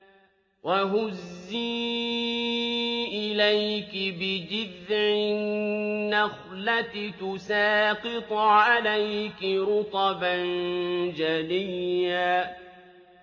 وَهُزِّي إِلَيْكِ بِجِذْعِ النَّخْلَةِ تُسَاقِطْ عَلَيْكِ رُطَبًا جَنِيًّا